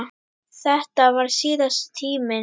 Þetta varð síðasti tíminn.